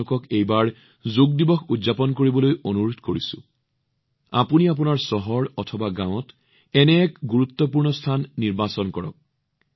মই আপোনালোকক অনুৰোধ জনাইছো এইবাৰ যোগ দিৱস উদযাপন কৰিবলৈ আপোনাৰ চহৰ বা গাঁৱত এনে এখন স্থান বাছনি কৰক যি আটাইতকৈ বিশেষ